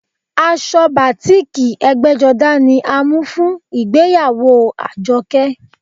Aṣọ batiiki ẹgbẹ́jọdá ni a mú fún ìgbéyàwó Àjọkẹ́